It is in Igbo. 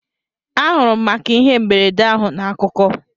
Anụrụ m maka ihe mberede ahụ na akụkọ